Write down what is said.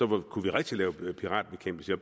med eu kunne vi rigtig lave piratbekæmpelse